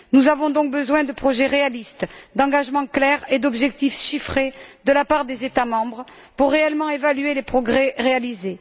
Nous avons donc besoin de projets réalistes, d'engagements clairs et d'objectifs chiffrés de la part des États membres pour réellement évaluer les progrès réalisés.